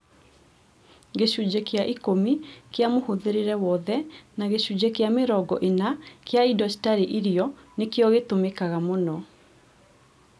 Gĩcunjĩ kĩa ikũmi kĩa mũhũthĩrĩre wothe na gĩcunjĩ kĩa mĩrongo ĩna kĩa indo citarĩ irio nĩkĩo gĩtũmikaga mũno